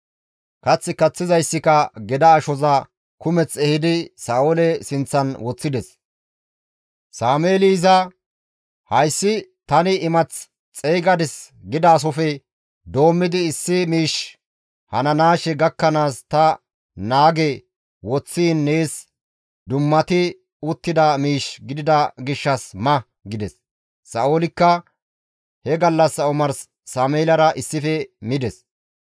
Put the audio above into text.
Kath kaththizayssika geda ashoza kumeth ehidi Sa7oole sinththan woththides; Sameeli iza, «Hayssi, ‹Tani imath xeygadis› gidaasofe doommidi issi miishshi hananaashe gakkanaas ta naage woththiin nees dummati uttida miish gidida gishshas ma» gides. Sa7oolikka he gallassa omarsi Sameelara issife mides.